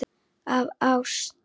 Af ást.